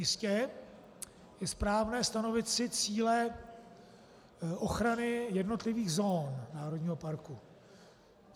Jistě, je správné stanovit si cíle ochrany jednotlivých zón národního parku.